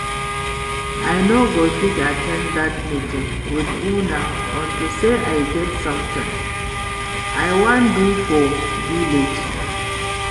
I no go fit at ten d dat meeting with una unto say I get something I wan do for village